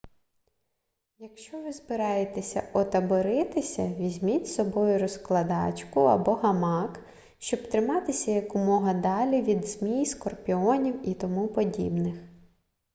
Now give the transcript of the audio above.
якщо ви збираєтеся отаборитися візьміть з собою розкладачку або гамак щоб триматися якомога далі від змій скорпіонів і тому подібних